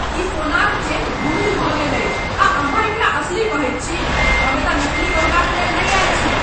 ई सोनाक चेन धूमिल भऽ गेल अछि आ अहाँ एकरा असली कहैत छी? हम एतय नकली गहनाक लेल नहि आएल छी!